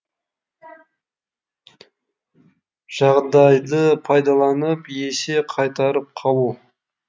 жағдайды пайдаланып есе қайтарып қалу